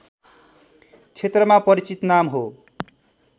क्षेत्रमा परिचित नाम हो